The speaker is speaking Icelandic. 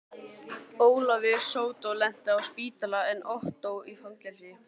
Ólafur sódó lenti á spítala en Ottó í fangelsi.